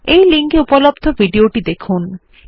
এটি spoken tutorial প্রকল্পটি সারসংক্ষেপে বোঝায়